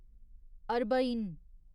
Arbaeen